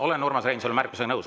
Olen Urmas Reinsalu märkusega nõus.